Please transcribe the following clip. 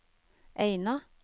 Eina